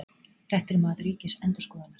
Þetta er mat Ríkisendurskoðunar